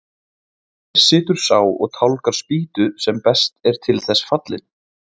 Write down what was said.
Hér situr sá og tálgar spýtu sem best er til þess fallinn.